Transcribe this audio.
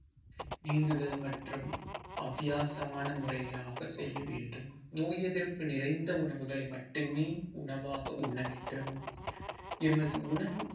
நீந்துதல் மற்றும் அத்தியாசமான முறையாக செய்ய வேண்டும் நோய் எதிர்ப்பு நிறைந்த உணவுகளை மட்டுமே உணவாக உண்ண வேண்டும் எமது உணவு